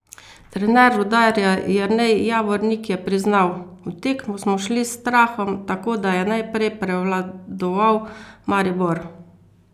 Trener Rudarja Jernej Javornik je priznal: "V tekmo smo šli s strahom, tako da je najprej prevladoval Maribor.